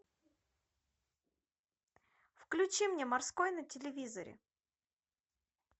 включи мне морской на телевизоре